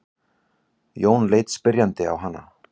Jón leit spyrjandi á hana.